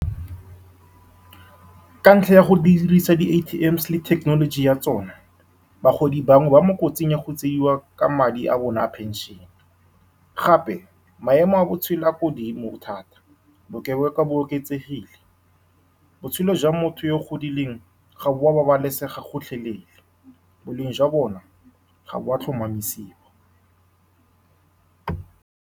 Ka ntlha ya go dirisa di-A_T_M_s le technology ya tsone, bagodi bangwe ba mo kotsing ya go tseiwa ka madi a bone a pension-e, gape maemo a botshele a ko godimo thata, bokebekwa bo oketsegile. Botshelo jwa motho yo o godileng ga bo a babalesega gotlhelele, boleng jwa bone ga bo a tlhomamisiwa.